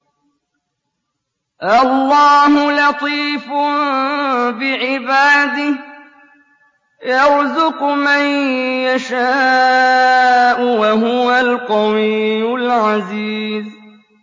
اللَّهُ لَطِيفٌ بِعِبَادِهِ يَرْزُقُ مَن يَشَاءُ ۖ وَهُوَ الْقَوِيُّ الْعَزِيزُ